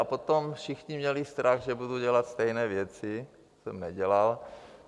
A potom všichni měli strach, že budu dělat stejné věci, to jsem nedělal.